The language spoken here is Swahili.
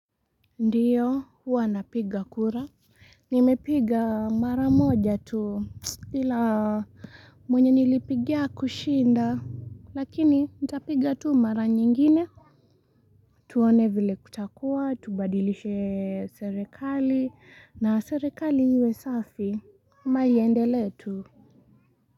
Ndiyo huwa napiga kura nimepiga mara moja tu ila mwenye nilipigia hakushinda lakini nitapiga tu mara nyingine tuone vile kutakuwa tubadilishe serikali na serikali iwe safi ama iendelee tu.